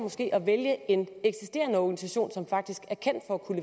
at vælge en eksisterende organisation som faktisk